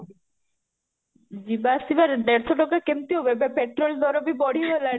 ଯିବା ଆସିବାରେ ଦେଢ଼ଶହ ଟଙ୍କା କେମିତି ହବ ଏବେ petrol ତାର ବଢି ଗଲାଣି